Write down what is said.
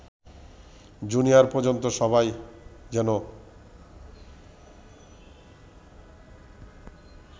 junior পর্যন্ত সবাই যেন